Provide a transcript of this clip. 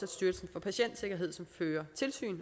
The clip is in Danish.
styrelsen for patientsikkerhed som fører tilsyn